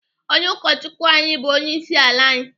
Onye ụkọchukwu anyị bụ onyeisiala anyị.